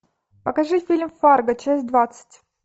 покажи фильм фарго часть двадцать